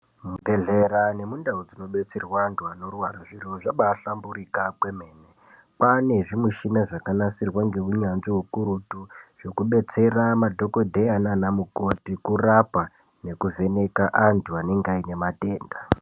Muzvibhedhlera nemundau dzinobetserwa antu anorwara zvirwere zvabahlamburika kwemene kwane zvimishina zvakanasirwa ngeunyanzvi ukurutu. Zvekubetsera nadhokodheya nanamukoti kurapa nekuvheneka antu anenge aine matenda.